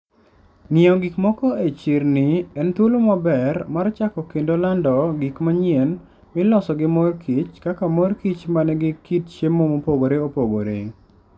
Ng'iewo gik moko e chirni en thuolo maber mar chako kendo lando gik manyien miloso gi mor kich, kaka mor kich ma nigi kit chiemo mopogore opogore